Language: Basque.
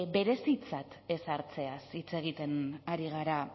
berezitzat ezartzeaz hitz egiten ari gara